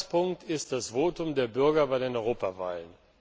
hat. Ausgangspunkt ist das Votum der Bürger bei den Europawahlen.